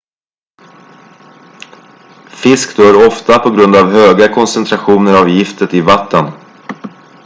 fisk dör ofta på grund av höga koncentrationer av giftet i vattnen